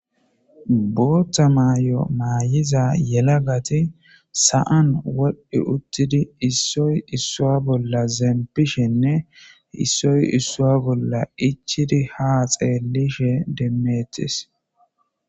bootta may7o maayiza yela gati sa7an wol7i uttidi issoy issua bolla zempishenne issoy issua bolla ichidi ha xeellishe demmeetis